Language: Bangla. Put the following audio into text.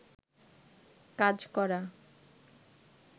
কাজ করা